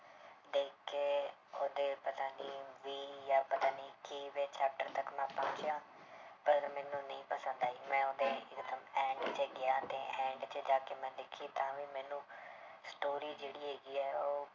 ਉਹਦੇ ਪਤਾ ਨੀ ਵੀਹ ਜਾਂਂ ਪਤਾ ਨੀ chapter ਤੱਕ ਮੈਂ ਪੜ੍ਹ ਲਿਆ, ਪਰ ਮੈਨੂੰ ਨਹੀਂ ਪਸੰਦ ਆਈ ਮੈਂ ਉਹਦੇ end 'ਚ ਗਿਆ ਤੇ end 'ਚ ਜਾ ਕੇ ਮੈਂ ਦੇਖੀ ਤਾਂ ਵੀ ਮੈਨੂੰ story ਜਿਹੜੀ ਹੈਗੀ ਹੈ ਉਹ